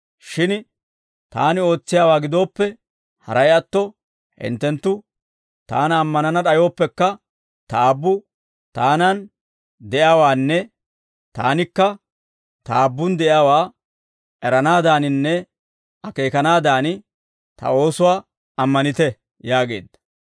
Shin Taani ootsiyaawaa gidooppe, haray atto hinttenttu Taana ammanana d'ayooppekka, Ta Aabbu Taanan de'iyaawaanne Taanikka Ta Aabbun de'iyaawaa eranaadaaninne akeekanaadan, Ta oosuwaa ammanite» yaageedda.